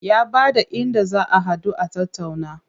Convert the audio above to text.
Ya bada inda za a haɗu a tattauna.